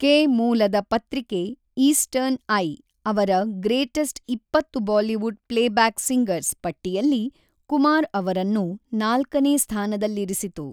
K ಮೂಲದ ಪತ್ರಿಕೆ 'eastern eye' ಅವರ 'ಗ್ರೇಟೆಸ್ಟ್ ಇಪ್ಪತ್ತು ಬಾಲಿವುಡ್ ಪ್ಲೇಬ್ಯಾಕ್ ಸಿಂಗರ್ಸ್' ಪಟ್ಟಿಯಲ್ಲಿ ಕುಮಾರ್ ಅವರನ್ನು ನಾಲ್ಕನೇ ಸ್ಥಾನದಲ್ಲಿರಿಸಿತು.